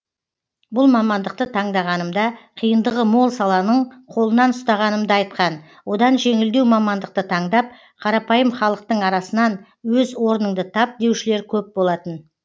бұл мамандықты таңдағанымда қиындығы мол саланың қолынан ұстағанымды айтқан одан жеңілдеу мамандықты таңдап қарапайым халықтың арасынан өз орныңды тап деушілер көп болатын